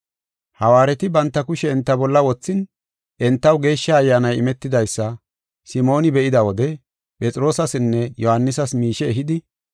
Hawaareti banta kushe enta bolla wothin, entaw Geeshsha Ayyaanay imetidaysa Simooni be7ida wode Phexroosasinne Yohaanisas miishe ehidi,